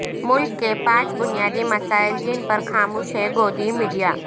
ملک کے پانچ بنیادی مسائل جن پر خاموش ہے گودی میڈیا